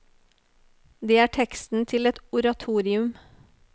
Det er teksten til et oratorium.